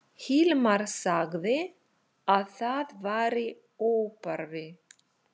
Hilmar sagði að það væri óþarfi.